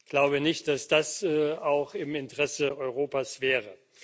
Ich glaube nicht, dass das auch im Interesse Europas wäre.